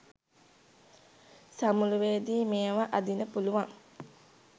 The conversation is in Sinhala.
සමුළුවේදී මේවා අදින්න පුළුවන්.